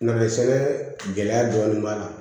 Nasɛbɛn gɛlɛya dɔɔnin b'a la